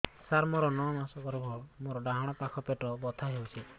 ସାର ମୋର ନଅ ମାସ ଗର୍ଭ ମୋର ଡାହାଣ ପାଖ ପେଟ ବଥା ହେଉଛି